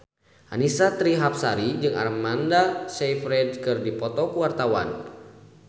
Annisa Trihapsari jeung Amanda Sayfried keur dipoto ku wartawan